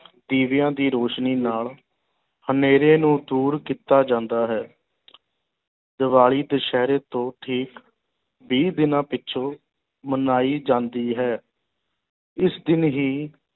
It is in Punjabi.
ਦੀਵਿਆਂ ਦੀ ਰੋਸ਼ਨੀ ਨਾਲ ਹਨੇਰੇ ਨੂੰ ਦੂਰ ਕੀਤਾ ਜਾਂਦਾ ਹੈ ਦੀਵਾਲੀ ਦੁਸ਼ਹਿਰੇ ਤੋਂ ਠੀਕ ਵੀਹ ਦਿਨਾਂ ਪਿੱਛੋਂ ਮਨਾਈ ਜਾਂਦੀ ਹੈ ਇਸ ਦਿਨ ਹੀ